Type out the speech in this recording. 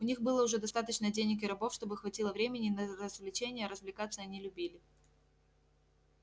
у них было уже достаточно денег и рабов чтобы хватило времени и на развлечения а развлекаться они любили